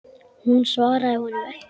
Hún svaraði honum ekki.